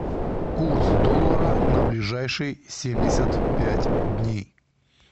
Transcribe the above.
курс доллара на ближайшие семьдесят пять дней